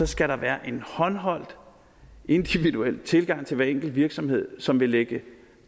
skal der være en håndholdt individuel tilgang til hver enkelt virksomhed som vil lægge